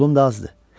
Pulum da azdır.